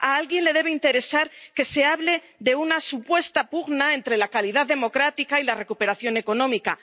A alguien le debe interesar que se hable de una supuesta pugna entre la calidad democrática y la recuperación económica.